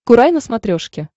курай на смотрешке